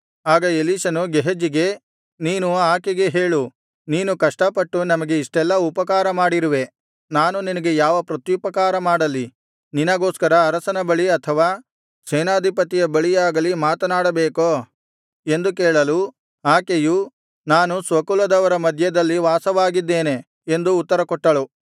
ಆಗ ಎಲೀಷನು ಗೇಹಜಿಗೆ ನೀನು ಆಕೆಗೆ ಹೇಳು ನೀನು ಕಷ್ಟಪಟ್ಟು ನಮಗೆ ಇಷ್ಟೆಲ್ಲಾ ಉಪಕಾರ ಮಾಡಿರುವೆ ನಾನು ನಿನಗೆ ಯಾವ ಪ್ರತ್ಯುಪಕಾರ ಮಾಡಲಿ ನಿನಗೋಸ್ಕರ ಅರಸನ ಬಳಿ ಅಥವಾ ಸೇನಾಧಿಪತಿಯ ಬಳಿಯಾಗಲಿ ಮಾತನಾಡಬೇಕೋ ಎಂದು ಕೇಳಲು ಆಕೆಯು ನಾನು ಸ್ವಕುಲದವರ ಮಧ್ಯದಲ್ಲಿ ವಾಸವಾಗಿದ್ದೇನೆ ಎಂದು ಉತ್ತರಕೊಟ್ಟಳು